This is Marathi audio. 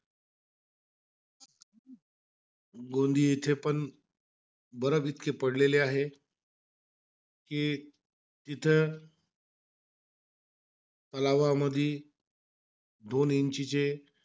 गोंदीये येथे पण इतके पडलेले आहे. कि तिथं तलावामध्ये दोन इंचिचे,